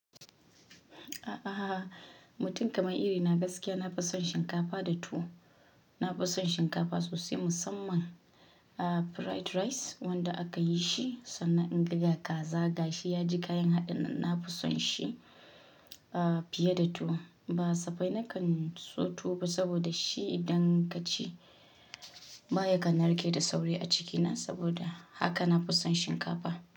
A'a, mutum kamar iri na gaskiya na fi son shinkafa da tuwo. Na fi son shinkafa sosai, musamman ah, fried rice, wanda aka yi shi sannan inga ga kaza, gashi ya ji kayan haɗinnan na fi son shi, fiye da tuwo. Ba safai na kan so tuwo ba, saboda shi idan ka ci baya kan narke da sauri a ciki na, saboda haka na fi son shinkafa.